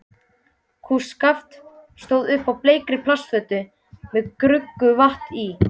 Kústskaft stóð upp úr bleikri plastfötu með gruggugu vatni í.